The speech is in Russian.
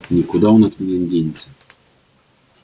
никуда он от меня не денется